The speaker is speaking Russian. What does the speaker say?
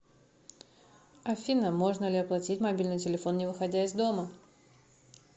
афина можно ли оплатить мобильный телефон не выходя из дома